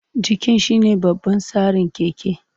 Jikin shine babban tsarin keke.